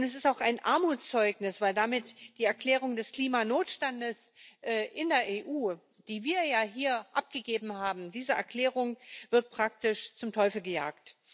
Und es ist auch ein Armutszeugnis, weil damit die Erklärung des Klimanotstandes in der EU, die wir ja hier abgegeben haben diese Erklärung wird praktisch zum Teufel gejagt.